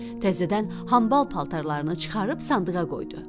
Təzədən hambal paltarlarını çıxarıb sandığa qoydu.